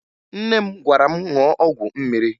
Nne m gwara m ṅụọ ọgwụ mmiri